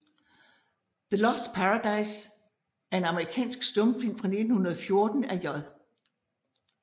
The Lost Paradise er en amerikansk stumfilm fra 1914 af J